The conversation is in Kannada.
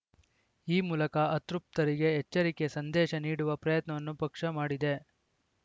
ಈ ಮೂಲಕ ಅತೃಪ್ತರಿಗೆ ಎಚ್ಚರಿಕೆಯ ಸಂದೇಶ ನೀಡುವ ಪ್ರಯತ್ನವನ್ನು ಪಕ್ಷ ಮಾಡಿದೆ